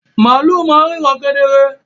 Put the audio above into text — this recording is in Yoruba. Màlú ma n ríran kedere